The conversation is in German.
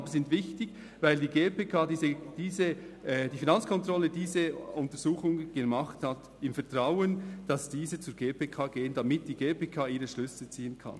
Aber sie sind wichtig, weil die Finanzkontrolle diese Untersuchungen durchgeführt hat, im Vertrauen darauf, dass diese zur GPK gelangen, damit die GPK daraus ihre Schlüsse ziehen kann.